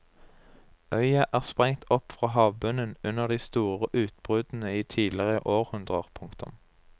Øya er sprengt opp fra havbunnen under de store utbruddene i tidligere århundrer. punktum